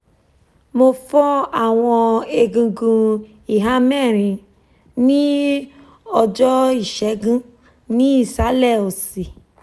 mo fọ awọn egungun iha mẹrin ni ọjọ-isegun ni isalẹ osi